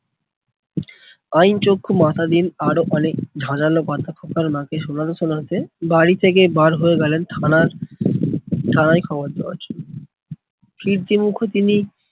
আইন চক্ষু মাতাদিন আরো অনেক কথা খোকার মাকে শোনাতে শোনাতে বাড়ি থেকে বার হয়ে গেলেন থানার থানায় খবর দেওয়ার জন্য। ফিরতি মুখে তিনি